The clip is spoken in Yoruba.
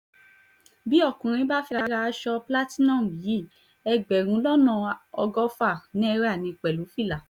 bí ọkùnrin bá fẹ́ẹ́ ra aṣọ platinum yìí ẹgbẹ̀rún lọ́nà ọgọ́fà náírà ní pẹ̀lú fìlà